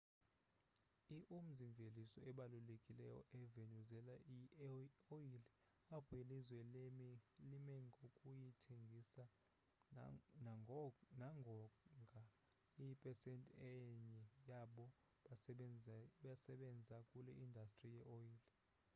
i umzi-mveliso obalulekileyo e-venezuela yi oyile apho ilizwe limengokuyithengisa nangonga iyipsesenti enye yabo basebenza kule indastri ye oyile